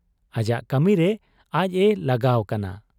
ᱟᱡᱟᱜ ᱠᱟᱹᱢᱤᱨᱮ ᱟᱡ ᱮ ᱞᱟᱜᱟᱣ ᱠᱟᱱᱟ ᱾